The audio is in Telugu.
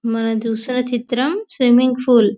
మనం చూస్తున చిత్రం చిత్రం స్విమ్మింగ్ పూల్ .